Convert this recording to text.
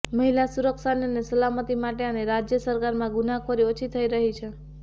મહિલા સુરક્ષાની અને સલામતી માટે અને રાજય સરકારમાં ગુનાહખોરી ઓછી થઈ રહી છે